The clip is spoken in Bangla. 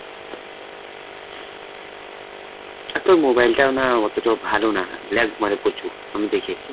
হ্যাঁ, আর তোর mobile টাও না, অতটাও ভালো না, lag মারে প্রচুর আমি দেখেছি।